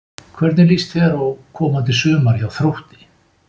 Hvernig líst þér á komandi sumar hjá Þrótti?